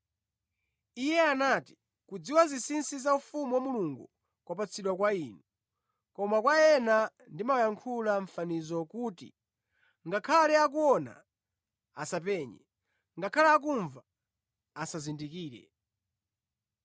Iye anati, “Kudziwa zinsinsi za ufumu wa Mulungu kwapatsidwa kwa inu, koma kwa ena ndimawayankhula mʼmafanizo kuti, “ngakhale akuona, asapenye; ngakhale akumva, asazindikire.”